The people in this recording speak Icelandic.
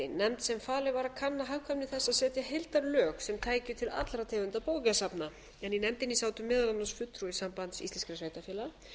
nefnd sem falið var að kanna hagkvæmni þess að setja heildarlög sem tæki til allra tegunda bókasafna en í nefndinni sátu meðal annars fulltrúi sambands íslenskra sveitarfélaga